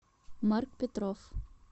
марк петров